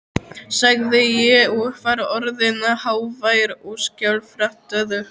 sagði ég, og var orðinn hávær og skjálfraddaður.